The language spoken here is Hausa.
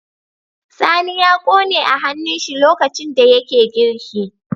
Sani ya kone a hannun shi lokacin da yake girki